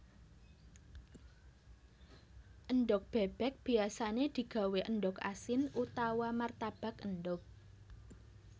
Endhog bébék biyasané digawé endhog asin utawa martabak endhog